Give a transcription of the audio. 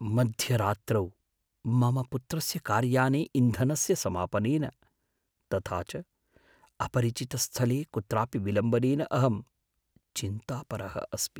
मध्यरात्रौ मम पुत्रस्य कार्याने इन्धनस्य समापनेन, तथा च अपरिचितस्थले कुत्रापि विलम्बनेन अहं चिन्तापरः अस्मि।